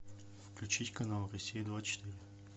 включить канал россия двадцать четыре